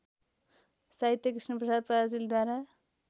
साहित्य कृष्णप्रसाद पराजुलीद्वारा